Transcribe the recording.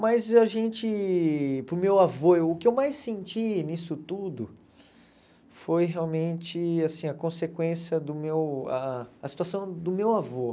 Mas a gente para o meu avô, o que eu mais senti nisso tudo foi realmente assim a consequência do meu ah a situação do meu avô.